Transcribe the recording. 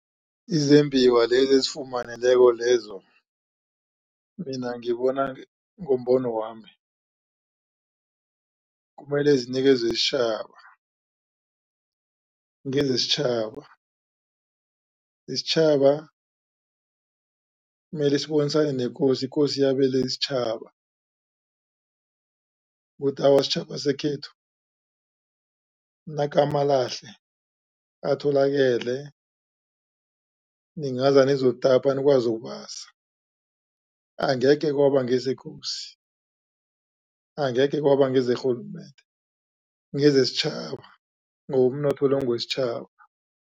Izembiwa lezi ezifumaneleko lezo mina ngibona ngombono wami kumele zinikezwe isitjhaba ngezesitjhaba, isitjhaba mele sibonisane nekosi ikosi yabele isitjhaba kuthi awa sitjhaba sekhethu nakamalahle atholakale ningeza nizokutapa nikwazi ukubasa angekhe kwaba ngezekosi angekhe kwaba ngezerhulumende ngezesitjhaba ngoba umnotho lo ngewesitjhaba.